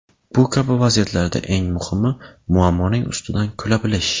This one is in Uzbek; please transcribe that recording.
Bu kabi vaziyatlarda eng muhimi muammoning ustidan kula bilish.